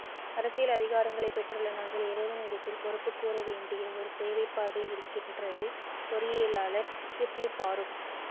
அரசியல் அதிகாரங்களை பெற்றுள்ள நாங்கள் இறைவனிடத்தில் பொறுப்புக்கூற வேண்டிய ஒரு தேவைப்பாடு இருக்கின்றது பொறியியலாளர் ஷிப்லி பாறுக்